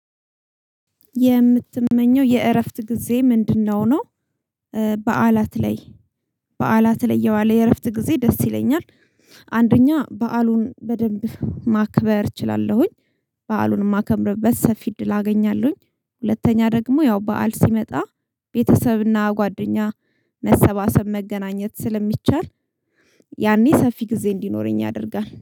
የምትመኘው የእረፍት ጊዜ ምንድነው ነው? እ በዓላት ላይ በዓላት ለይ የዋለ የእረፍት ጊዜ ደስ ይለኛል። አንደኛ በዓሉን በደንብ ማክበር እችላለሁኝ በዓሉን የማከብርበት ሰፊ እድል አገኛለሁኝ። ሁለተኛ ደግሞ ያው በዓል ሲመጣ ቤተሰብና ጓደኛ መሰባሰብ መገናኘት ስለሚቻል። የ ያኔ ሰፊ ጊዜ እንዲኖረኝ ያደርጋል